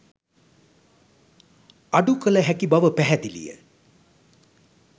අඩු කළ හැකි බව පැහැදිලිය.